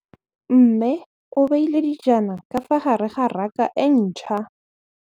Mmê o beile dijana ka fa gare ga raka e ntšha.